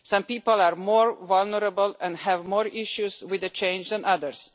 Some people are more vulnerable and have more issues with the change than others.